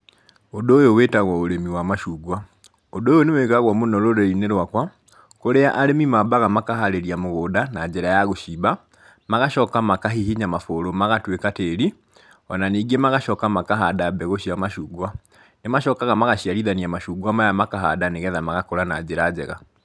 Ũndũ ũyũ wĩtagwo ũrĩmi wa macungwa, ũndũ ũyũ nĩ wĩkagwo mũno rũrĩrĩ-inĩ rwakwa, kũrĩa arĩmi mambaga makaharĩria mũgũnda na njĩra ya gũcimba, magacoka makahihinya mabũrũ magatuĩka tĩri, o na ningĩ magacoka makahanda mbegũ cia macungwa. Nĩ macokaga magaciarithania macungwa maya makahanda nĩgetha magakũra na njĩra njega.